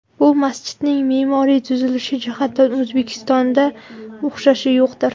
Bu masjidning me’moriy tuzilishi jihatidan O‘zbekistonda o‘xshashi yo‘qdir.